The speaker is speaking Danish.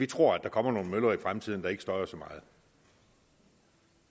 tror der kommer nogle møller i fremtiden der ikke støjer så meget